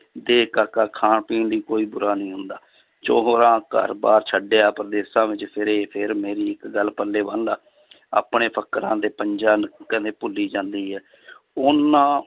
ਦੇਖ ਕਾਕਾ ਖਾਣ ਪੀਣ ਦੀ ਕੋਈ ਬੁਰਾ ਨਹੀਂ ਹੁੰਦਾ ਚਹੁਰਾ ਘਰ ਬਾਰ ਛੱਡਿਆ ਪ੍ਰਦੇਸ਼ਾਂ ਵਿੱਚ ਫਿਰੇ ਫਿਰ ਮੇਰੀ ਇੱਕ ਗੱਲ ਪੱਲੇ ਬੰਨ ਲਾ ਆਪਣੇ ਫ਼ੱਕਰਾਂ ਦੇ ਭੁੱਲੀ ਜਾਂਦੀ ਹੈ ਉਹਨਾਂ